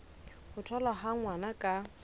ho tholwa ha ngwana ka